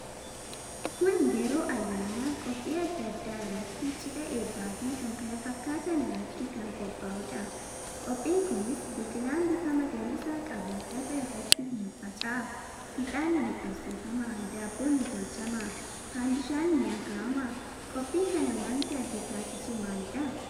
Kun yeroo ayyaana, qophii adda adda irratti, cidha, eebbaf kkf irraatti kan qoophaahudha. Qophiin kunis biqilaan bifa magariisa qabu lafa irratti hin faffaca'a. Ixaanni ni qabsifama Daabbon ni tolchama Fandishan ni akaama Qophii kana wanti adda taasisu maalidha?